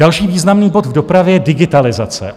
Další významný bod v dopravě je digitalizace.